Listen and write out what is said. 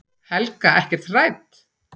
Helga: Ekkert hrædd?